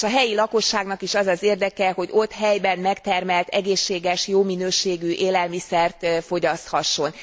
És a helyi lakosságnak is az az érdeke, hogy helyben megtermelt, egészséges, jó minőségű élelmiszert fogyaszthasson.